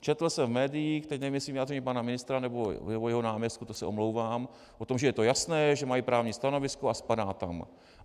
Četl jsem v médiích, teď nevím jestli vyjádření pana ministra, nebo jeho náměstků, to se omlouvám, o tom, že je to jasné, že mají právní stanovisko a spadá tam.